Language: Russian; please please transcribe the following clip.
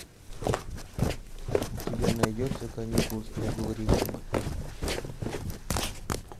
у тебя найдется каникулы строгого режима